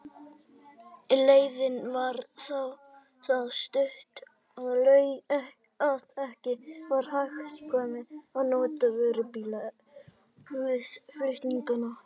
Leiðin var það stutt, að ekki var hagkvæmt að nota vörubíla við flutningana.